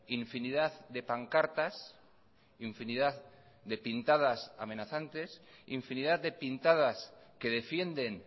infinidad de pancartas infinidad de pintadas amenazantes infinidad de pintadas que defienden